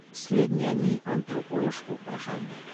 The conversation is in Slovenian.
Slednje ni antropološko vprašanje.